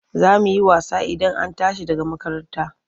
Za mu yi wasa Idan an tashi daga makaranta.